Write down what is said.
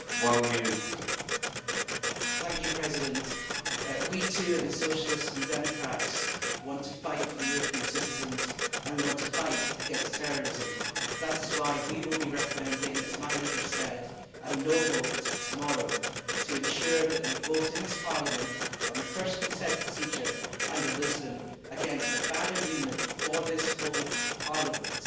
Mr President, we, too, in the Socialists and Democrats, want to fight for the European citizens and we want to fight against terrorism, so that is why we will be recommending, as my leader said, a no' vote tomorrow to ensure that we vote in this Parliament on the first consent procedure under Lisbon against a bad agreement for this whole Parliament.